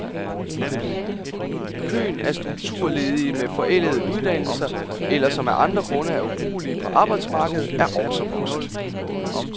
Køen af strukturledige med forældede uddannelser, eller som af andre grunde er ubrugelige på arbejdsmarkedet, er også vokset.